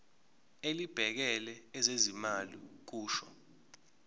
elibhekele ezezimali kusho